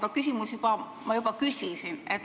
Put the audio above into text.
Ma küsimuse juba küsisin.